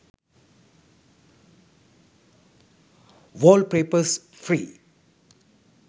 wallpapers free